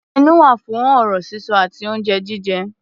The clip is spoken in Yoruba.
Ẹnu wà fún ọ̀rọ̀ sísọ àti oúnjẹ jíjẹ.